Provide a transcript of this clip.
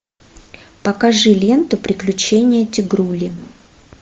покажи ленту приключения тигрули